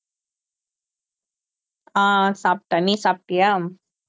ஆஹ் சாப்பிட்டேன் நீ சாப்பிட்டியா